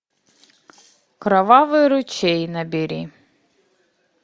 кровавый ручей набери